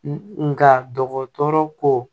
Nka dɔgɔtɔrɔ ko